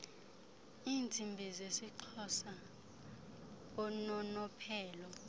iintsimbi zeisxhosa unonophelo